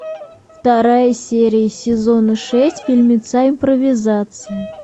вторая серия сезона шесть фильмеца импровизация